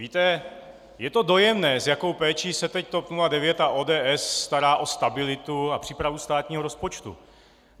Víte, je to dojemné, s jakou péčí se teď TOP 09 a ODS starají o stabilitu a přípravu státního rozpočtu.